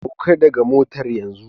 Sauka daga motar yanzu!